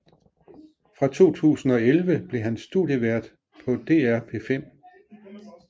Fra 2011 blev han studievært på DR P5